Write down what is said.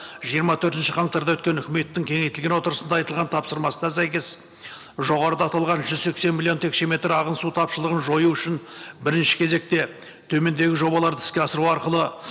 жиырма төртінші қаңтарда өткен үкіметтің кеңейтілген отырысында айтылған тапсырмасына сәйкес жоғарыда аталған жүз сексен миллион текшеметр ағын су тапшылығын жою үшін бірінші кезекте төмендегі жобаларды іске асыру арқылы